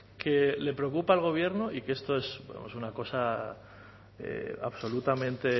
que le preocupa al gobierno y que esto es una cosa absolutamente